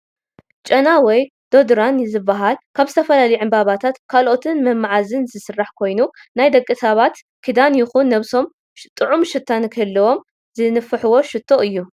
ጨና ወይ ዶድራን ዝባሃል ካብ ዝተፈላለዩ ዕንባባታትን ካልኦት መምዓዝን ዝስራሕ ኮይኑ ናይ ደቂ ሰባት ክዳን ይኩን ነብሶም ጥዑም ሽታ ንክህልዎም ዝንፋሕ ሽቶ እዩ።